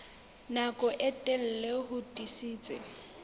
nako e telele ho tiisitse